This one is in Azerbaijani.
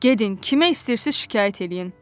Gedin, kimə istəyirsiz şikayət eləyin.